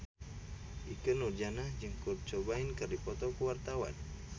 Ikke Nurjanah jeung Kurt Cobain keur dipoto ku wartawan